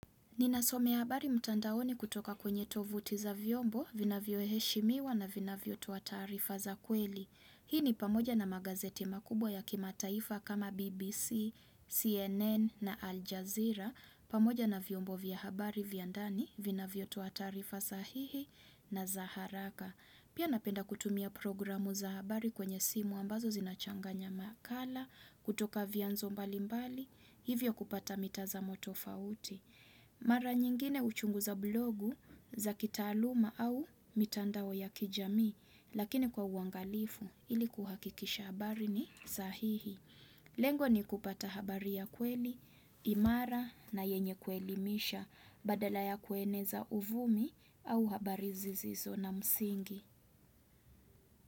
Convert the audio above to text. Ninasomea habari mtandaoni kutoka kwenye tovuti za vyombo, vinavyoheshimiwa na vinavyotoa tarifa za kweli. Hii ni pamoja na magazeti makubwa ya kimataifa kama BBC, CNN na Aljazeera. Pamoja na vyombo vya habari vya ndani, vinavyotoa taarifa sahihi na za haraka. Pia napenda kutumia programu za habari kwenye simu ambazo zinachanganya makala, kutoka vyanzo mbali mbali, hivyo kupata mitazamo tofauti. Mara nyingine uchungu za blogu za kitaaluma au mitandao ya kijamii. Lakini kwa uangalifu, ili kuhakikisha habari ni sahihi. Lengo ni kupata habari ya kweli, imara na yenye kuelimisha badala ya kueneza uvumi au habari zizizo na msingi.